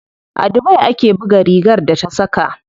A dubai ake buga rigar da ta saka.